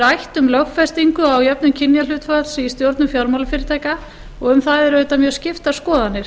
rætt um lögfestingu á jöfnun kynjahlutfalls í stjórnun fjármálafyrirtækja og um það eru auðvitað mjög skiptar skoðanir